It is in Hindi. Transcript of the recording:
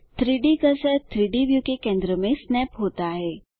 3डी कर्सर 3डी व्यू के केंद्र में स्नैप होता है